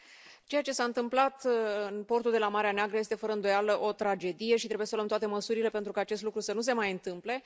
Doamnă președintă, ceea ce s a întâmplat în portul de la Marea Neagră este, fără îndoială, o tragedie și trebuie să luăm toate măsurile pentru ca acest lucru să nu se mai întâmple.